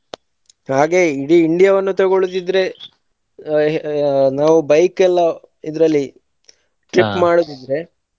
ಹಾಗೆ ಇಡೀ India ವನ್ನು ತಗೊಳೋದಿದ್ರೆ ಆ ನಾವು bike ಎಲ್ಲಾ ಇದ್ರಲ್ಲಿ ಮಾಡುದಿದ್ರೆ.